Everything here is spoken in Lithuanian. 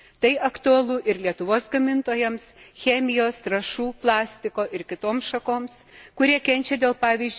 Tai aktualu ir Lietuvos gamintojams, chemijos, trąšų, plastiko ir kitoms šakoms, kurie kenčia dėl, pvz.,